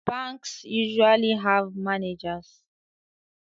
Banks usually have managers